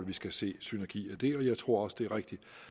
vi skal se synergier dér og jeg tror også det er rigtigt